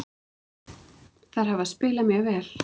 Þær hafa spilað mjög vel.